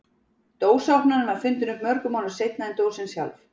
Dósaopnarinn var fundinn upp mörgum árum seinna en dósin sjálf.